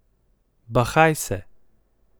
Bahaj se.